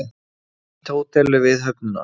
Nýtt hótel við höfnina